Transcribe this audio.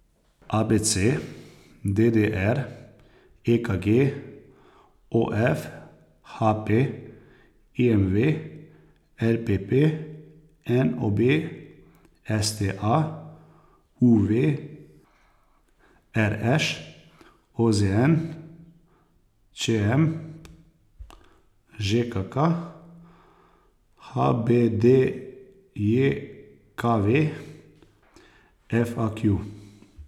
A B C; D D R; E K G; O F; H P; I M V; L P P; N O B; S T A; U V; R Š; O Z N; Č M; Ž K K; H B D J K V; F A Q.